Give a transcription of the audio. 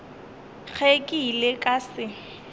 ge ke ile ka se